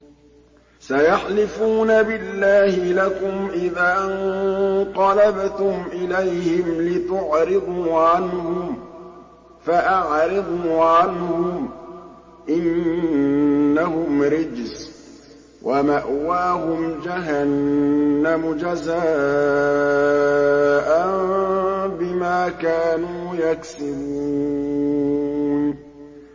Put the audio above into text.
سَيَحْلِفُونَ بِاللَّهِ لَكُمْ إِذَا انقَلَبْتُمْ إِلَيْهِمْ لِتُعْرِضُوا عَنْهُمْ ۖ فَأَعْرِضُوا عَنْهُمْ ۖ إِنَّهُمْ رِجْسٌ ۖ وَمَأْوَاهُمْ جَهَنَّمُ جَزَاءً بِمَا كَانُوا يَكْسِبُونَ